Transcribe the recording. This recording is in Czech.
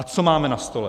A co máme na stole?